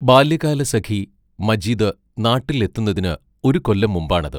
ബാല്യകാലസഖി മജീദ് നാട്ടിൽ എത്തുന്നതിന് ഒരു കൊല്ലം മുമ്പാണത്.